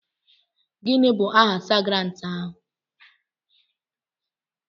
Gịnị bụ aha Sajentị ahụ.